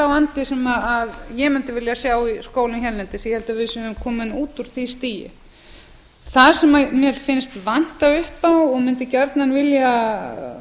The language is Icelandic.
vandi sem ég mundi vilja sjá í skólum hérlendis ég held að við séum komin út úr því stigi það sem mér finnst vanta upp á og mundi gjarnan vilja